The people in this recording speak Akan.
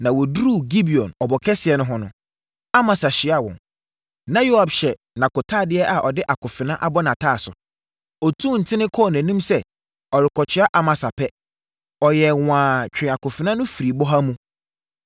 Na wɔduruu Gibeon ɔbo kɛseɛ no ho no, Amasa hyiaa wɔn. Na Yoab hyɛ nʼakotadeɛ a ɔde akofena abɔ nʼataaso. Ɔtuu nten kɔɔ nʼanim sɛ, ɔrekɔkyea Amasa pɛ, ɔyɛɛ nwaa twee akofena no firii bɔha mu.